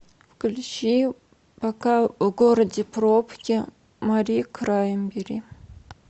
включи пока в городе пробки мари краймбери